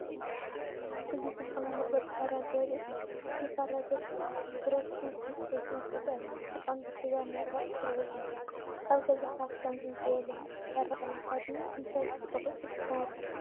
እዚ ፅቡቅ ናይ መቁረፂ ካራ ዘርኢ እዩ። እቲ ካራ ገፊሕ ብረት ስንቂን ዕንጨይቲ መትሓዚን ኣለዎ። ብቐንዱ ስጋ ንምቑራጽ ዝውዕል እዩ። ኣብ ገዛኻ ከምዚ ዝበለ ካራ ኣለካ ድዩ? እንታይ ክትቆርጽ ትጥቀመሉ?